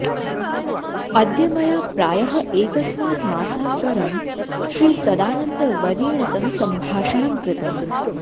अद्य मया प्रायः एकस्मात् मासात् परं श्रीसदानन्दवर्येण सह सम्भाषणं कृतम्